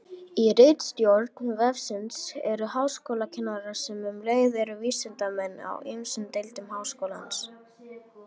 Í ritstjórn vefsins eru háskólakennarar, sem um leið eru vísindamenn, úr ýmsum deildum Háskólans.